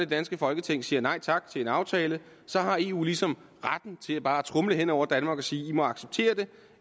danske folketing siger nej tak til en aftale så har eu ligesom retten til bare at tromle hen over danmark og sige i må acceptere det